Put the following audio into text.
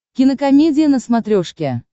кинокомедия на смотрешке